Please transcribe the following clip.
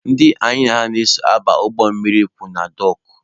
Ndị anyị na ha so aba ụgbọ mmiri kwụ na dọọkụ.